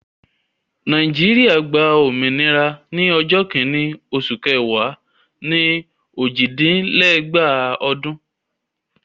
Nàìjíríà gba òmìnira ní ọjọ́ kìíní oṣù kẹwàá ni òjìdínlẹ́gbàá ọdún.